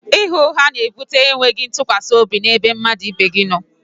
ịgha ụgha na ebute e nweghị ntụkwasị obi n'ebe mmadụ no